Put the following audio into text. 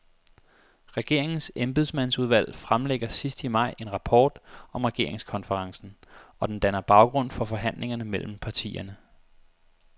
Regeringens embedsmandsudvalg fremlægger sidst i maj en rapport om regeringskonferencen, og den danner baggrund for forhandlingerne mellem partierne.